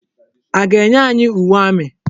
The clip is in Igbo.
A ga-enye anyị uwe amị?